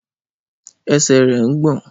Ẹsẹ̀ rẹ̀ ń gbọ̀n.